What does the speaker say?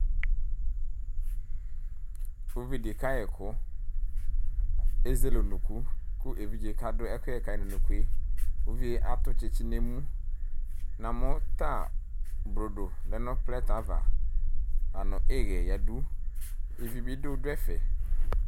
Uvidi kayɛkʋ, ezele unuku kʋ evidze kadʋ ɛkʋyɛ kayi nʋ unuku yɛ Uvidi atʋ tsitsi nʋ emu Namʋ ta blodo lɛ nʋ plɛtɛ ava lakʋ ihɛ yǝdu, ivi bi dʋ dʋ ɛfɛ